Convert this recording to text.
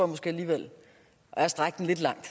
måske alligevel er at strække den lidt langt